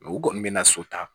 U kɔni bɛ na so ta